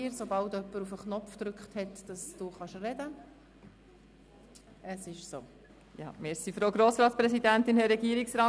Sobald sie in die Rednerliste eingewählt ist, hat sie das Wort.